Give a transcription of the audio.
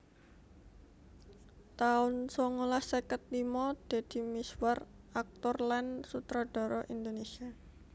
taun songolas seket limo Deddy Mizwar aktor lan sutradara Indonésia